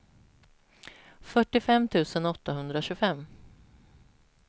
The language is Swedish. fyrtiofem tusen åttahundratjugofem